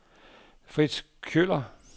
Frits Kjøller